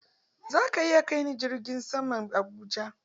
Zaka iya kai ni filin jirgin saman Abuja?